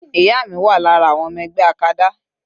Ìyá mi wà lára àwọn ọmọ ẹgbẹ́ acada.